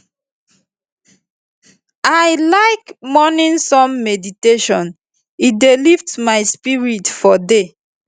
i like morning sun meditation e dey lift my spirit for the day